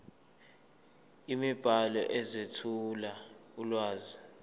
imibhalo ezethula ulwazi